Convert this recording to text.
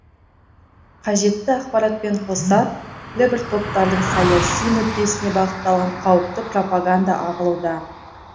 қажетті ақпаратпен қоса белгілі бір топтардың саяси мүддесіне бағытталған қауіпті пропаганда ағылуда